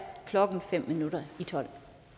klokken fem minutter i tolv